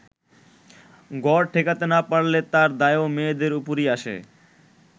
ঘর টেকাতে না পারলে তার দায়ও মেয়েদের ওপরই আসে।